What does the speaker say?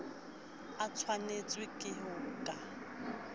a tshwanetswe ke ho ka